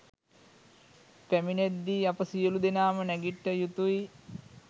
පැමිණෙද්දී අප සියලූ දෙනාම නැගිට්ට යුතුයි.